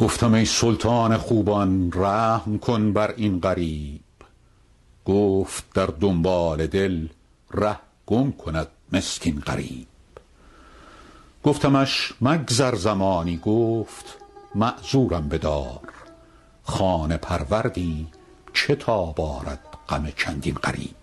گفتم ای سلطان خوبان رحم کن بر این غریب گفت در دنبال دل ره گم کند مسکین غریب گفتمش مگذر زمانی گفت معذورم بدار خانه پروردی چه تاب آرد غم چندین غریب